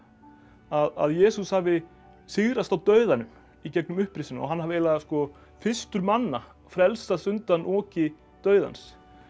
að Jesús hafi sigrast á dauðanum í gegnum upprisuna og hann hafi fyrstur manna frelsast undan oki dauðans